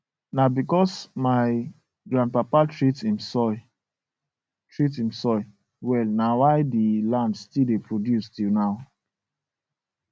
na because my grandpapa treat him soil treat him soil well na why the land still dey produce till now